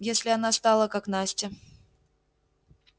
если она стала как настя